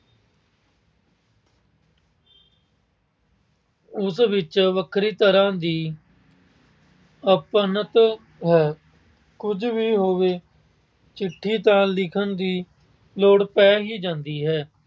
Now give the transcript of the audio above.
ਉਸ ਵਿੱਚ ਵੱਖਰੀ ਤਰ੍ਹਾਂ ਦੀ ਅਪਣਤ ਹੈ। ਕੁਝ ਵੀ ਹੋਵੇ, ਚਿੱਠੀ ਤਾਂ ਲਿਖਣ ਦੀ ਲੋੜ ਪੈ ਹੀ ਜਾਂਦੀ ਹੈ।